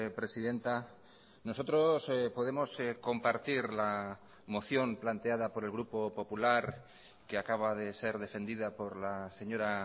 presidenta nosotros podemos compartir la moción planteada por el grupo popular que acaba de ser defendida por la señora